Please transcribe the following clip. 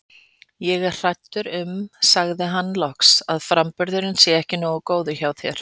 Ég er hræddur um sagði hann loks, að framburðurinn sé ekki nógu góður hjá þér